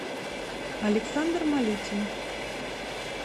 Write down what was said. александр малютин